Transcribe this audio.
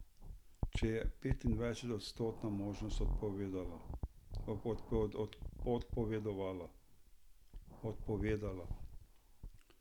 Če je petindvajsetodstotna možnost odpovedala.